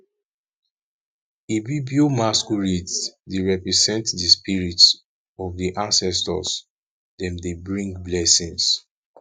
ibibio masquerades dey represent di spirit of di ancestors dem dey bring blessings